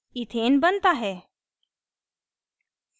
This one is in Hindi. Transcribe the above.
इथेन बनता है